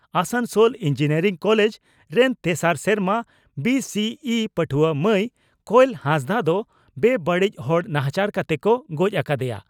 Asansol engineering college ᱨᱮᱱ ᱛᱮᱥᱟᱨ ᱥᱮᱨᱢᱟ ᱵᱤᱹᱥᱤᱹᱤᱹ ᱯᱟᱹᱴᱷᱩᱣᱟᱹ ᱢᱟᱹᱭ ᱠᱚᱭᱮᱞ ᱦᱟᱸᱥᱫᱟᱜ ᱫᱚ ᱵᱮᱼᱵᱟᱹᱲᱤᱡ ᱦᱚᱲ ᱱᱟᱦᱟᱪᱟᱨ ᱠᱟᱛᱮ ᱠᱚ ᱜᱚᱡ ᱟᱠᱟᱫᱮᱭᱟ ᱾